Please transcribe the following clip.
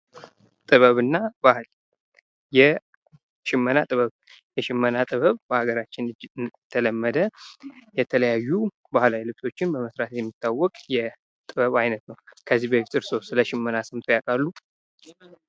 ጥበብና ባህል ፦ የሽመና ጥበብ ፦ የሽመና ጥበብ በሀገራችን የተለመደ ፣ የተለያዩ ባህላዊ ልብሶችን በመስራት የሚታወቅ የጥበብ አይነት ነው ። ከዚህ በፊት እርስዎ ስለሽመና ሰምተው ያውቃሉ ?